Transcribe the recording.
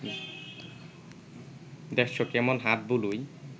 দেখছ কেমন হাত বুলোয়